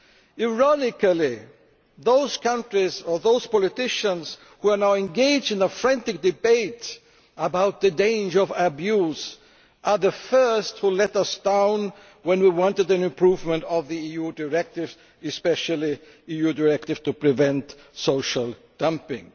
Ironically, those countries or those politicians who are now engaged in a frantic debate about the dangers of abuse were the first to let us down when we wanted an improvement of the EU directive, especially the EU directive to prevent social dumping.